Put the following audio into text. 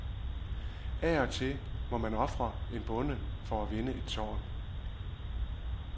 Af og til må man ofre en bonde for at vinde et tårn.